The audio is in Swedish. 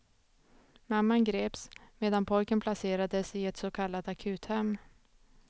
Mamman greps, medan pojken placerades i ett så kallat akuthem.